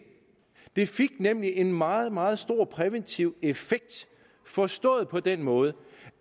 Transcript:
det fik en meget meget stor præventiv effekt forstået på den måde